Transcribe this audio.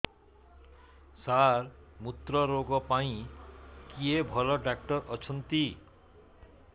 ସାର ମୁତ୍ରରୋଗ ପାଇଁ କିଏ ଭଲ ଡକ୍ଟର ଅଛନ୍ତି